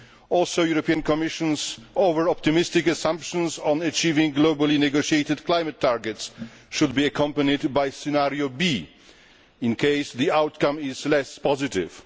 Also, the European Commission's over optimistic assumptions on achieving globally negotiated climate targets should be accompanied by a scenario B, in case the outcome is less positive.